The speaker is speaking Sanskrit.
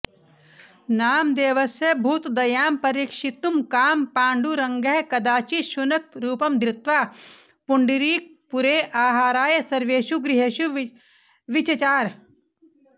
नामदेवस्य भूतदयां परीक्षितुकामः पाण्डुरङ्गः कदाचित् शुनकरूपं धृत्वा पुण्डरीकपुरे आहाराय सर्वेषु गृहेषु विचचार